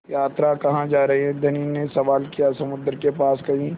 यात्रा कहाँ जा रहे हैं धनी ने सवाल किया समुद्र के पास कहीं